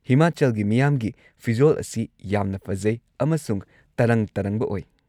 ꯍꯤꯃꯥꯆꯜꯒꯤ ꯃꯤꯌꯥꯝꯒꯤ ꯐꯤꯖꯣꯜ ꯑꯁꯤ ꯌꯥꯝꯅ ꯐꯖꯩ ꯑꯃꯁꯨꯡ ꯇꯔꯪ-ꯇꯔꯪꯕ ꯑꯣꯏ꯫